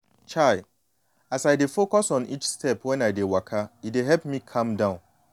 chai as i dey focus on each step when i dey waka e dey help me calm down.